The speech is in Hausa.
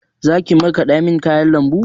Zaki markaɗa min kayan lambu?